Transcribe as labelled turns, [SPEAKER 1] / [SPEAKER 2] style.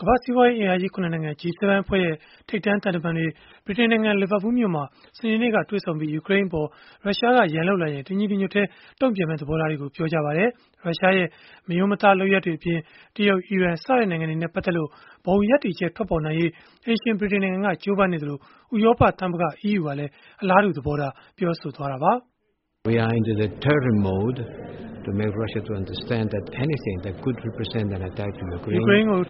[SPEAKER 1] ကမ္ဘာ့စီးပွားရေးအင်အားကြီး ၇ နိုင်ငံ (G7) အဖွဲ့ရဲ့ ထိပ်တန်းသံတမန်တွေ ဗြိတိန်နိုင်ငံ လီဗာပူးမြို့မှာ စနေနေ့က တွေ့ဆုံခဲ့ကြပြီး ယူကရိန်းနိုင်ငံအပေါ် ရုရှားက ရန်လုပ်လာရင် တညီတညွတ်တည်း တုံ့ပြန်မယ့် သဘောထားတွေကို ပြောဆိုခဲ့ကြပါတယ်။ ရုရှားရဲ့ မရိုးမသား လုပ်ရပ်တွေအပြင် တရုတ်၊ အီရန် စတဲ့နိုင်ငံတွေနဲ့ ပတ်သက်လို့ ဘုံရပ်တည်ချက် ထွက်ပေါ်နိုင်ရေး အိမ်ရှင် ဗြိတိန်နိုင်ငံက ကြိုးပမ်းနေသလို ဥရောပသမဂ္ဂ (EU) ကလည်း အလားတူ သဘောထား ပြောဆိုခဲ့တာပါ။ “ယူ
[SPEAKER 2] ကရိန်းကို